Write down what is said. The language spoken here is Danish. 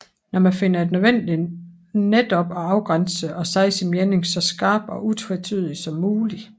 Når man finder det nødvendigt netop at afgrænse sig og sige sin mening så skarpt og utvetydigt som muligt